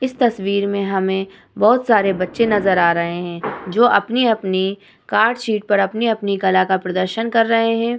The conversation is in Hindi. इस तस्वीर में हमें बोहोत सारे बच्चे नजर आ रहे हैं जो अपने-अपने कार्ड सीट पर अपने-अपने कला का प्रदर्शन कर रहे हैं।